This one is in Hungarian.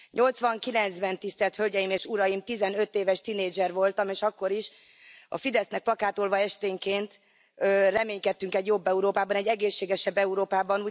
Nyolcvankilencben, Tisztelt Hölgyeim és Uraim, 15 éves tinédzser voltam, és akkor is a Fidesznek plakátolva esténként reménykedtünk egy jobb Európában, egy egészségesebb Európában.